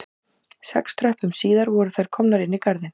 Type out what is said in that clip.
Sex tröppum síðar voru þær komnar inn í garðinn